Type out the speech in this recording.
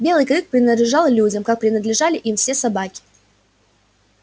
белый клык принадлежал людям как принадлежали им все собаки